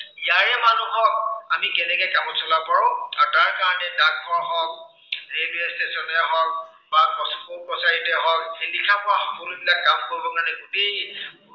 ইয়াৰে মানুহক আমি কেনেকে কামত চলাব পাৰো আৰু তাৰ কাৰনে ডাকঘৰ হওক, railway station য়েই হওক বা court কাছাৰীতে হওক, লিখা পঢ়া সকলোবিলাক কাম কৰিবৰ কাৰনে গোটেই